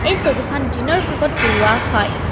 এই ছবিখন দিনৰ ভাগত তোলোৱা হয়।